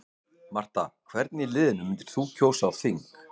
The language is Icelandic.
Marta Hvern í liðinu þínu myndir þú kjósa á þing?